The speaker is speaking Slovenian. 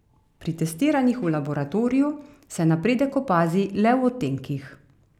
Pri testiranjih v laboratoriju se napredek opazi le v odtenkih.